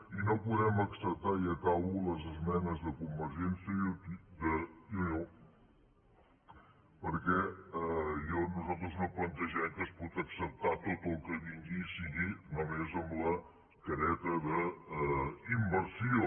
i no podem acceptar i acabo les esmenes de convergència i unió perquè nosaltres no plantegem que es pot acceptar tot el que vingui que sigui només amb la careta d’inversió